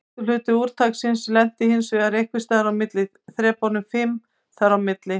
Stærstur hluti úrtaksins lenti hinsvegar einhvers staðar á þrepunum fimm þar á milli.